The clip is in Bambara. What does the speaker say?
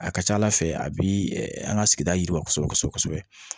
A ka ca ala fɛ a bi an ka sigida yiriwa kosɛbɛ kosɛbɛ kosɛbɛ